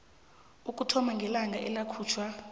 ukuthoma ngelanga eyakhutjhwa